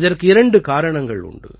இதற்கு இரண்டு காரணங்கள் உண்டு